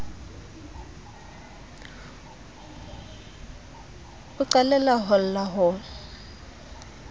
o qalella ho lla ho